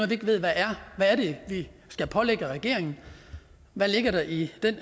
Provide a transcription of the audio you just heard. vi ikke ved hvad er hvad er det vi skal pålægge regeringen hvad ligger der i den